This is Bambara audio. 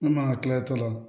N'u mana kila